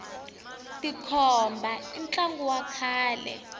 tikhomba i ntlangu wa kahle